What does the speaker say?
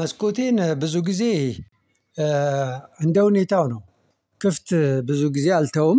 መስኮቴን ብዙ ጊዜ እንደ ሁኔታው ነው። ክፍት ብዙ ጊዜ አልተውም።